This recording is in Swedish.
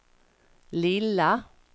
lilla